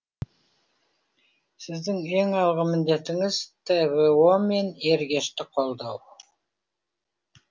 сіздің ең алғы міндетіңіз тво мен ергешті қолдау